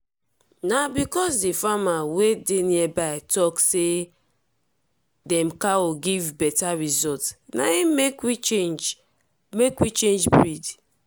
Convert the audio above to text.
na because the farmers wey dey nearby talk say dem cow give better result na im make we change make we change breed.